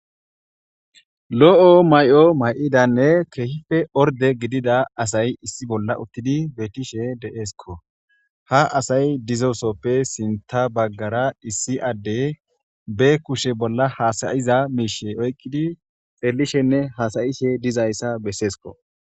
Lo7o may7o may7idanne keehife orde gidida asay issi bolla uttidi betishe de7eesko ha asay dizosoppe sinta baggara issi adde be kushe bolla hasayiza miishe oyqqidi xellishenne haasayishe dizayssa besseesko.